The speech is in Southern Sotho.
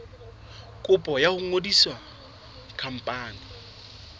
kopo ya ho ngodisa khampani